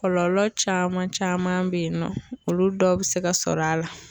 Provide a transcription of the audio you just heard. Kɔlɔlɔ caman caman be yen nɔ olu dɔw be se ka sɔrɔ a la